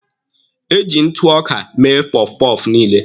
Eji ntụ ọka mee pọfpọfụ niile.